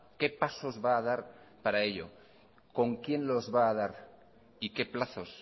qué pasos va a dar para ello con quién los va a dar y qué plazos